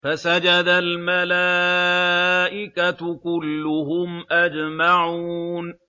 فَسَجَدَ الْمَلَائِكَةُ كُلُّهُمْ أَجْمَعُونَ